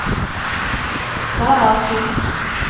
тарасу